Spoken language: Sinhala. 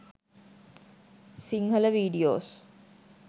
sinhala videos